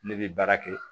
Ne bɛ baara kɛ